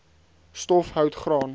stof hout graan